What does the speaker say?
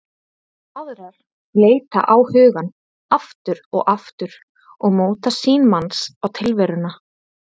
Aðrar leita á hugann aftur og aftur og móta sýn manns á tilveruna.